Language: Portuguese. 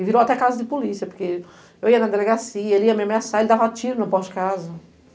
E virou até casa de polícia, porque eu ia na delegacia, ele ia me ameaçar, ele dava tiro na porta de casa.